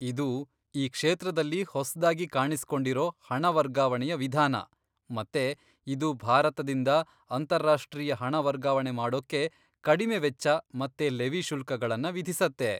ಇದು ಈ ಕ್ಷೇತ್ರದಲ್ಲಿ ಹೊಸ್ದಾಗಿ ಕಾಣಿಸ್ಕೊಂಡಿರೋ ಹಣ ವರ್ಗಾವಣೆಯ ವಿಧಾನ ಮತ್ತೆ ಇದು ಭಾರತದಿಂದ ಅಂತಾರಾಷ್ಟ್ರೀಯ ಹಣ ವರ್ಗಾವಣೆ ಮಾಡೋಕ್ಕೆ ಕಡಿಮೆ ವೆಚ್ಚ ಮತ್ತೆ ಲೆವಿ ಶುಲ್ಕಗಳನ್ನ ವಿಧಿಸತ್ತೆ.